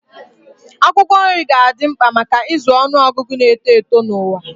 Akwụkwọ nri ga-adị mkpa maka ịzụ ọnụ ọgụgụ na-eto eto n'ụwa.